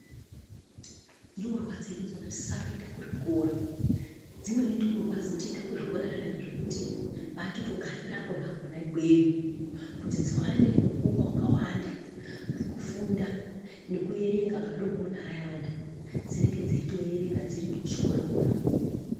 Ndumurwa dzedu dzinosisa kuenda kuzvikora dzimweni ndumurwa dzinotoenda kuzvikora zvekuti vanotondogarira kona ikweyo kuti dziwane mukuwo wakawanda wekufunda nekuerenga madekoni ayana dzinenge dzeitoerenga dziri kuchikora kona ikoko.